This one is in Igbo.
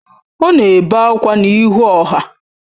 Ọ na-ebe akwa n’ihu ọha